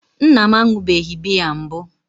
nna m aṅụbeghị biya mbụ